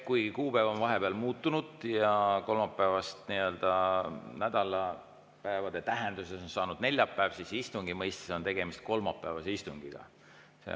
Kuigi kuupäev on vahepeal muutunud ja kolmapäevast on nädalapäeva tähenduses saanud neljapäev, siis istungi mõistes on tegemist kolmapäevase istungiga.